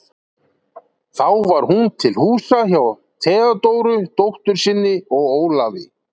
Þá var hún til húsa hjá Theódóru, dóttur sinni, og Ólafi.